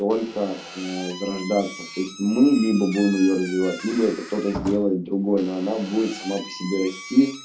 только э возрождаться то есть мы либо будем её развивать небо это кто-то сделает другой но оно будет само по себе расти